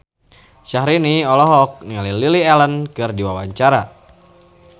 Syahrini olohok ningali Lily Allen keur diwawancara